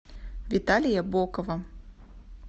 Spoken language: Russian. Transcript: виталия бокова